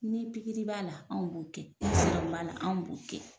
Ni b'a la anw b'o kɛ ni b'a la anw b'o kɛ.